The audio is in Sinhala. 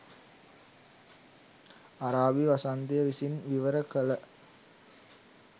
අරාබි වසන්තය විසින් විවර කළ